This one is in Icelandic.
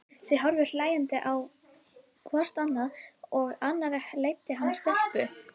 Þau horfðu hlæjandi á hvort annað og á annarri leiddi hann stelpu.